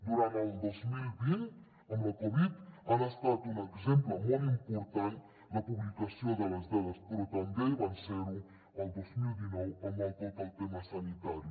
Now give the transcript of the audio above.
durant el dos mil vint amb la covid ha estat un exemple molt important la publicació de les dades però també va ser ho el dos mil dinou amb tot el tema sanitari